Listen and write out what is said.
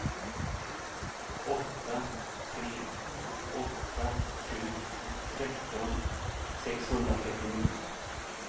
åtta tre åtta sju tretton sexhundratrettionio